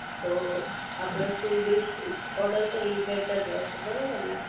તો આપડે full dish જ ઓર્ડર કરવી એ બેટા રહેશે બરોબરને